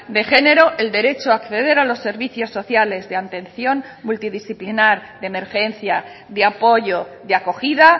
de género el derecho a acceder a los servicios sociales de atención multidisciplinar de emergencia de apoyo de acogida